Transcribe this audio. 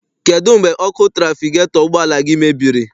Kedụ mgbe ọkụ trafigetọ ụgbọala gị mebiri?